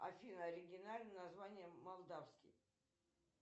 афина оригинальное название молдавский